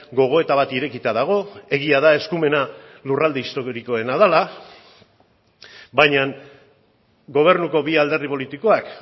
gogoeta bat irekita dago egia da eskumena lurralde historikoena dela baina gobernuko bi alderdi politikoak